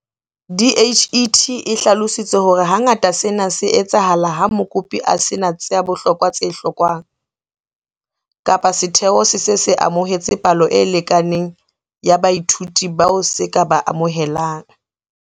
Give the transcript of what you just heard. DHET e hlalositse hore hangata sena se etsahala ha mokopi a se na tsa bohlokwa tse hlokwang kapa setheo se se se amohetse palo e lekaneng ya baithuti bao se ka ba amohelang.